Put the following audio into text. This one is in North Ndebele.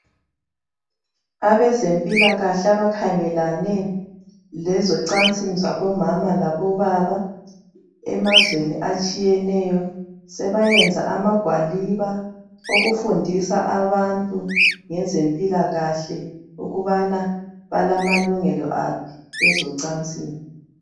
Abezempilakahle abakhangelane lezocansini zabomama labobaba emazweni atshiyeneyo sebayenza amagwaliba okufundisa abantu ngezempilakahle ukubana balamalungelo aphi kwezocansini.